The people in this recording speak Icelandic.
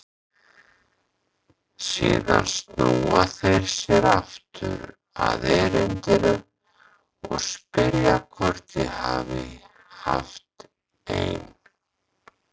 Síðan snúa þeir sér aftur að erindinu og spyrja hvort ég hafi haft ein